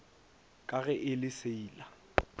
ka ge e le seila